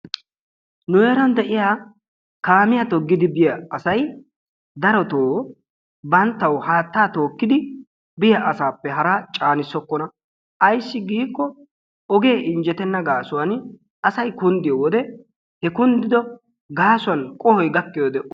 Nu heeran de'iyaa kaamiya toggidi biyaa asay darotoo banttaw haattaa tookkidi biya asappe hara caanissokkona ayssi giiko oge injjettena gaasuwan asay kunddiyoode, he kundido gaasuwan qohoy gakkiyoode...